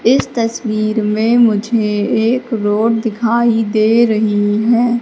इस तस्वीर में मुझे एक रोड दिखाई दे रही हैं।